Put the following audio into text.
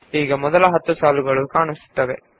ಈಗ ಮೊದಲ 10 ಸಾಲುಗಳು ಪ್ರದರ್ಶಿತವಾಗಿದೆ